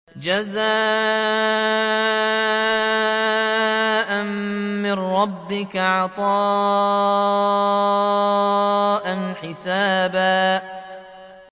جَزَاءً مِّن رَّبِّكَ عَطَاءً حِسَابًا